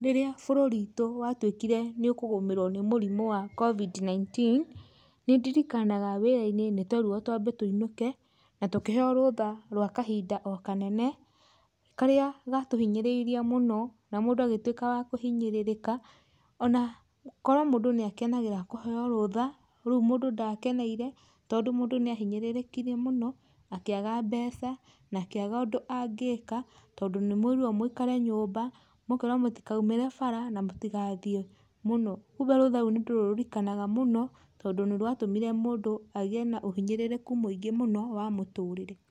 Rĩrĩa bũrũri wĩtu watuĩkire nĩ ũkũgũmĩrwo nĩ mũrimũ wa Covid 19 nĩ ndirikanaga wĩra-inĩ nĩtwerirwo twambe tũinũke, na tũkĩheyo rũtha rwa kahinda o kanene, karĩa gatĩhinyĩrĩirie mũno na mũndũ agĩtuĩka wa kũhinyĩrĩrĩka, ona korwo mũndũ nĩ akenagĩrĩra kũheyo rũtha, rũu mũndũ ndakeneire, tondũ mũndũ nĩ ahinyĩrĩrĩkire mũno akĩaga mbeca, na akĩaga ũndũ angĩka, tondũ nĩ mũĩrirwo mũikare nyũmba, mũkerwo mũtikoimĩre bara na mũtigathiĩ mũno, kumbe rũtha rũu nĩ tũrũririkanaga mũno, tondũ nĩ rwatũmire mũndũ agĩe na ũhinyĩrĩrĩku mũingĩ mũno wa mũtũrire.